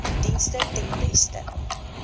dienste ten beste